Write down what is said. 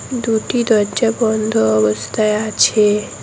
দুটি দরজা বন্ধ অবস্থায় আছে।